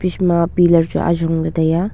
eje ma pillar chu ajong lah tai aa.